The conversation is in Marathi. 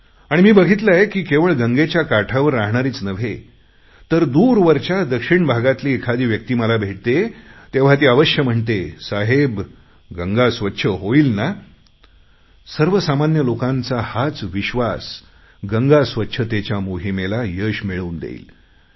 आणि मी बघितले आहे की केवळ गंगेच्या काठावर राहणारीच नव्हे तर दूरवरच्या दक्षिण भागातली एखादी व्यक्ती मला भेटते तेव्हा ती अवश्य म्हणते साहेब गंगा स्वच्छ होईल ना सर्वसामान्य लोकांचा हाच विश्वास गंगा स्वच्छतेच्या मोहिमेला यश मिळवून देईल